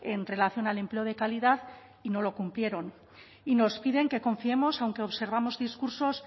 en relación al empleo de calidad y no lo cumplieron y nos piden que confiemos aunque observamos discursos